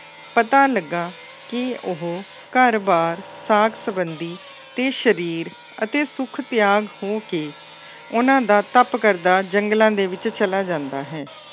ਪਤਾ ਲੱਗਾ ਕਿ ਉਹ ਘਰ ਬਾਰ ਸਾਕ ਸੰਬੰਧੀ ਅਤੇ ਸਰੀਰ ਅਤੇ ਸੁੱਖ ਤਿਆਗ ਹੋ ਕੇ ਉਹਨਾ ਦਾ ਤਪ ਕਰਦਾ ਜੰਗਲਾਂ ਦੇ ਵਿੱਚ ਚਲਾ ਜਾਂਦਾ ਹੈ।